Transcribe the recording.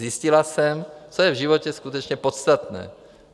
Zjistila jsem, co je v životě skutečně podstatné.